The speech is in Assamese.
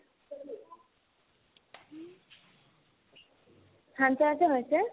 সানপাৰাতে হৈছে